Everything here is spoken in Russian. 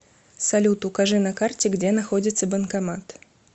салют укажи на карте где находится банкомат